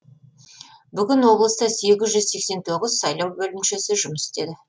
бүгін облыста сегіз жүз сексен тоғыз сайлау бөлімшесі жұмыс істеді